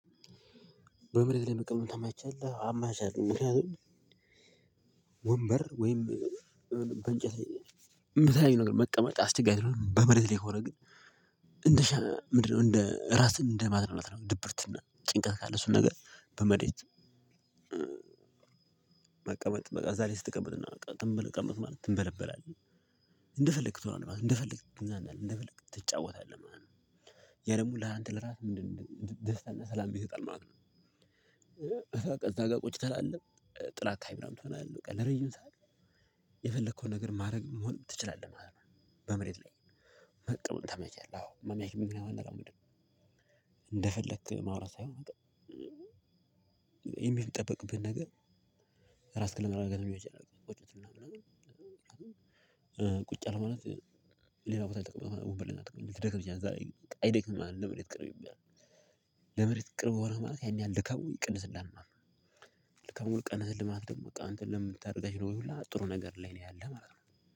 በምድር ላይ መቀመጥ ተመቻለሁ አማቻለሁ ምክንያቱም ወንበር ወይም በእንጨት የምታየው ነገር መቀመጥ አስቸጋሪ በመሬት ላይ ከሆነ ግን እንደ ምንድነው እንደ ራስህን እንደ ማዝናናት ነው ድብርትና ጭንቀት ካለ እሱን ነገር በመሬት መቀመጥ እዛላይ ስትቀመጥ ዝም ብለህ ተቀመጥክ ማለት ትንበለበላለህ እንደፈለክ ትሆናለህ ማለት ነው እንደፈለክ ትዝናናለህ እንደፈለክ ትጫወታለህ ማለት ነው። ያደግሞ ለአንተ ለራስህ ምንድነው ደስታና ሰላም ይሰጥሃል ማለት ነው በቃ እዛ ጋ ቁጭ ትላለህ ጥላ አካባቢ ምናምን ትሆናለህ በቃ ለረጅም ሰዓት የፈለከውን ነገር ማድረግ መሆን ትችላለህ ማለት ነው። በመሬት ላይ እንደፈለክ ማውራት ሳይሆን የሚጠበቅብህን ነገር ክለብ አድርገን ቁጭ አልክ ማለት ሌላ ቦታ ልጠቀምበት ሊደክምህ ይችላል እዛ ላይ ግን አይደክምህም ለመሬት ቅርብ ይባላል ለመሬት ቅርብ ሆነህ ማለት ያን ያህል ድካሙ ይቀንስልሃል ማለት ነው። ድካሙን ቀነሰልህ ማለት ደግሞ በቃ አንተ ለምታርጋቸው ነገሮች ሁላ ጥሩ ነገር ላይ ነው ያለህ ማለት ነው።